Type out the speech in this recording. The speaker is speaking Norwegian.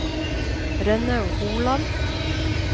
Rønnaug Holand